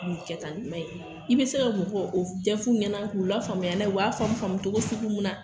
Cɛ ye i bI se ka mɔgɔw o ɲɛ f'u ɲɛna k'u la faamuya k'u la faamuya faamu cogo sugu mun na.